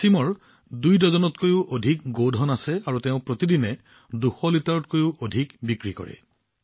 ৱাছিমৰ দুডজনৰো অধিক গাই আছে আৰু প্ৰতিদিনে দুশ লিটাৰতকৈও অধিক গাখীৰ বিক্ৰী কৰে